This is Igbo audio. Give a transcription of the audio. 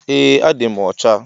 Eeh adim ọcha.